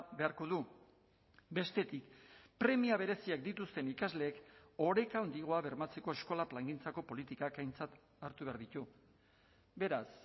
beharko du bestetik premia bereziak dituzten ikasleek oreka handiagoa bermatzeko eskola plangintzako politikak aintzat hartu behar ditu beraz